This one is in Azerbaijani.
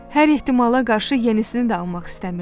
Hər ehtimala qarşı yenisini də almaq istəmirdi.